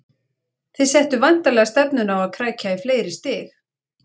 Þið settuð væntanlega stefnuna á að krækja í fleiri stig?